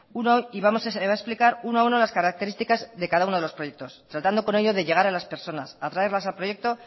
y va a explicar uno a uno las características de cada uno de los proyectos tratando con ello de llegar a las personas atraerlas a proyecto